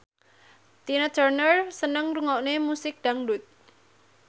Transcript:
Tina Turner seneng ngrungokne musik dangdut